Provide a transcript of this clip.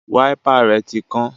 Wáípà rẹ̀ tí kán